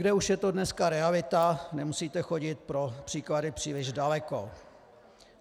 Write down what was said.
Leckde už je to dneska realita, nemusíte chodit pro příklady příliš daleko.